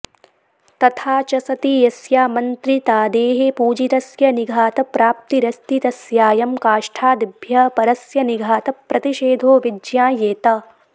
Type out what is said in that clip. तथा च सति यस्यामन्त्रितादेः पूजितस्य निघातप्राप्तिरस्ति तस्यायं काष्ठादिभ्यः परस्य निघातप्रतिषेधो विज्ञायेत